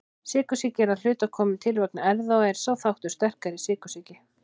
Sykursýki er að hluta komin til vegna erfða og er sá þáttur sterkari í sykursýki.